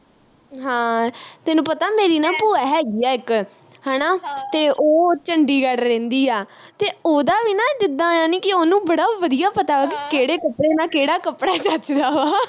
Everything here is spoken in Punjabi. ਹਾਂ ਤੈਨੂੰ ਪਤਾ ਮੇਰੀ ਨਾ ਭੂਆ ਹੈਗੀ ਆ ਇਕ ਹਣਾ ਤੇ ਉਹ ਚੰਡੀਗੜ੍ਹ ਰਹਿੰਦੀ ਆ ਤੇ ਉਹਦਾ ਵੀ ਨਾ ਜਿੱਦਾ ਜਾਣੀ ਕਿ ਉਹਨੂੰ ਬੜਾ ਵਧੀਆ ਪਤਾ ਵਾ ਕਿ ਕਿਹੜੇ ਕੱਪੜੇ ਨਾ ਕਿਹੜਾ ਕੱਪੜਾ ਜੱਚਦਾ ਵਾ